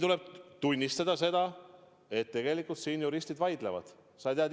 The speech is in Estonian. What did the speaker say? Tuleb tunnistada, et tegelikult juristid vaidlevad selle üle.